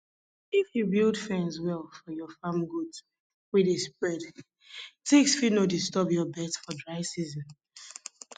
if you build fence well for your farm goats wey dey spread ticks fit no disturb your birds for dry season